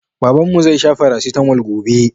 Babanmu zai sha Farasitamol gobe.